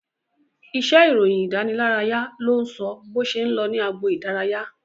Iṣẹ́ ìròyìn ìdánilárayá ló ń sọ bó ṣe ń lọ ní agbo idaraya